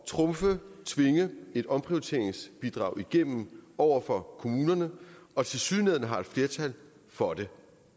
trumfe tvinge et omprioriteringsbidrag igennem over for kommunerne og tilsyneladende har et flertal for det